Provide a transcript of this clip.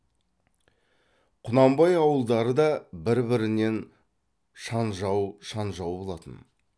құнанбай ауылдары да бір бірінен шанжау шанжау болатын